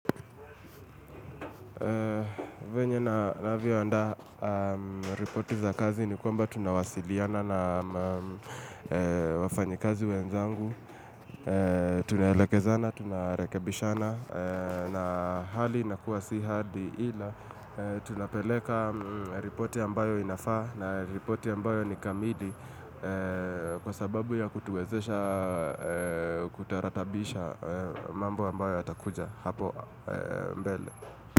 Venye na navioandaa ripoti za kazi ni kwamba tunawasiliana na wafanyikazi wenzangu. Tunaelekezana, tunarekebishana na hali inakuwa si hadi ila. Tunapeleka ripoti ambayo inafaa na ripoti ambayo nikamili kwa sababu ya kutuwezesha kutaratabisha mambo ambayo yatakuja hapo mbele.